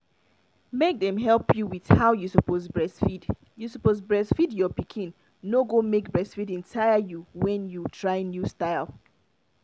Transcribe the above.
make dem help you with how you suppose breastfeed you suppose breastfeed your pikin no go make breastfeeding tire you when you try new style